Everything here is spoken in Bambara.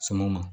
Sumanw ma